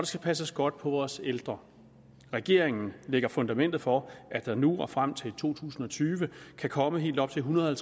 skal passes godt på vores ældre regeringen lægger fundamentet for at der nu og frem til to tusind og tyve kan komme helt op til ethundrede